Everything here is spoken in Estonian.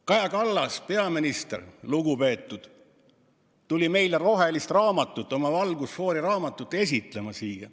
Kaja Kallas, lugupeetud peaminister, tuli meile valget raamatut, oma valgusfoori raamatut esitlema.